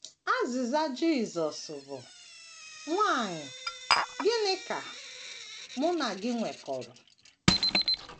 Azịza Jisọs bụ́, “ Nwanyị, gịnị ka Mụ na gị nwekọrọ? ”